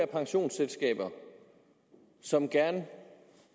pensionsselskaber som gerne